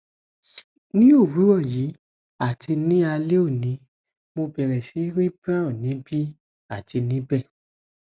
ni owurọ yii ati ni alẹ oni mo bẹrẹ si ri brown nibi ati nibẹ